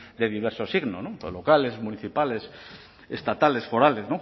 de diverso signo locales municipales estatales forales